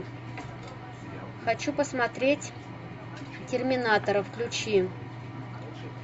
хочу посмотреть терминатора включи